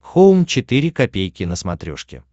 хоум четыре ка на смотрешке